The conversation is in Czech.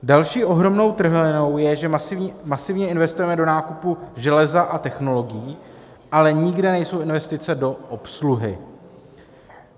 Další ohromnou trhlinou je, že masivně investujeme do nákupu železa a technologií, ale nikde nejsou investice do obsluhy.